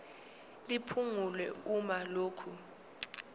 liphungulwe uma lokhu